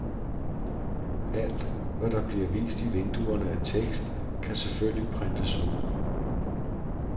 Alt, hvad der bliver vist i vinduerne af tekst, kan selvfølgelig printes ud.